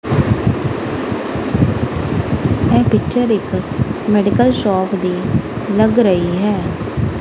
ਇਹ ਪਿਚਰ ਇਕ medical shop ਦੀ ਲੱਗ ਰਹੀ ਹੈ।